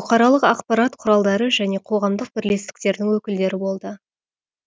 бұқаралық ақпарат құралдары және қоғамдық бірлестіктердің өкілдері болды